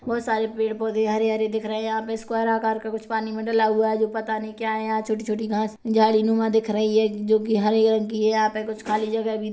बहुत सारे पेड़ पौधे हरे हरे देख रहे है यहाँ पर स्क्वायर आकार का कुछ पानी मे डला हुआ है जो पता नही क्या है यहाँ छोटी छोटी घास झाड़ीनूमा दिख रही है जो की हरे रंग की है यहाँ पे कुछ खाली जगा भी--